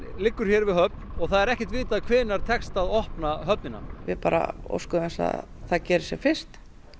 liggur hér við höfn og það er ekkert vitað hvenær tekst að opna höfnina við bara óskum þess að það gerist sem fyrst